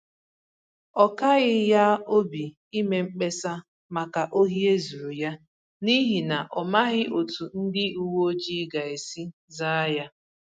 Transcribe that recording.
Ọ kaghị ya obi ime mkpesa maka ohi e zuru ya, n’ihi na ọ̀ maghị̀ otú ndị uweojii gā-esi zàa ya